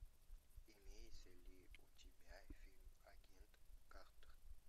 имеется ли у тебя фильм агент картер